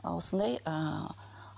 ы осындай ыыы